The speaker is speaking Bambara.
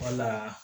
Wala